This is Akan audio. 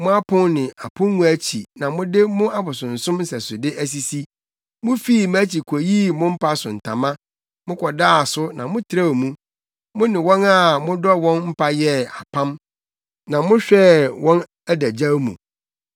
Mo apon ne apongua akyi na mo de mo abosonsom nsɛsode asisi. Mufii mʼakyi koyii mo mpa so ntama, mokɔdaa so na motrɛw mu; mo ne wɔn a modɔ wɔn mpa yɛɛ apam, na mohwɛɛ wɔn adagyaw mu.